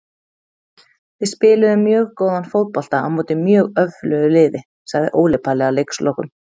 Við spiluðum mjög góðan fótbolta á móti mjög öflugu liði, sagði Óli Palli að leikslokum.